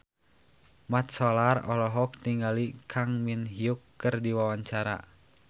Mat Solar olohok ningali Kang Min Hyuk keur diwawancara